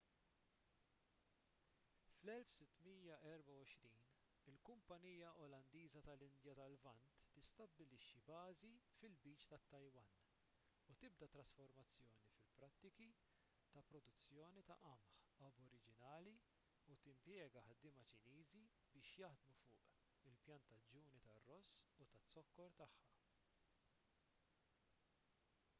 fl-1624 il-kumpanija olandiża tal-indja tal-lvant tistabbilixxi bażi fil-lbiċ tat-taiwan u tibda trasformazzjoni fil-prattiki ta' produzzjoni ta qamħ aboriġinali u timpjega ħaddiema ċiniżi biex jaħdmu fuq il-pjantaġġuni tar-ross u taz-zokkor tagħha